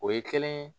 O ye kelen ye